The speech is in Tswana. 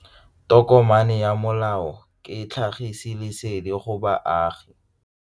Tokomane ya molao ke tlhagisi lesedi go baagi.